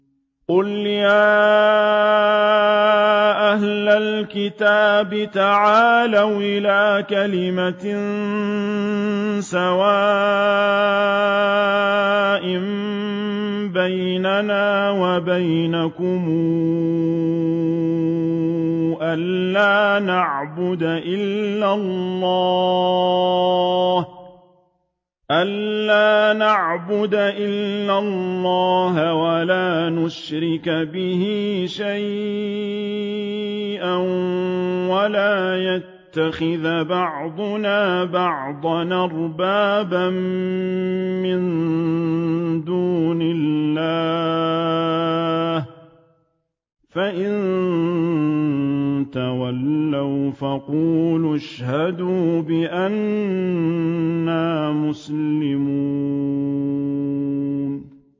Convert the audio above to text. قُلْ يَا أَهْلَ الْكِتَابِ تَعَالَوْا إِلَىٰ كَلِمَةٍ سَوَاءٍ بَيْنَنَا وَبَيْنَكُمْ أَلَّا نَعْبُدَ إِلَّا اللَّهَ وَلَا نُشْرِكَ بِهِ شَيْئًا وَلَا يَتَّخِذَ بَعْضُنَا بَعْضًا أَرْبَابًا مِّن دُونِ اللَّهِ ۚ فَإِن تَوَلَّوْا فَقُولُوا اشْهَدُوا بِأَنَّا مُسْلِمُونَ